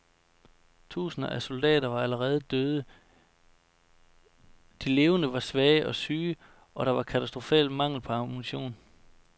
Tusinder af soldater var allerede døde, de levende var svage og syge, og der var katastrofal mangel på ammunition.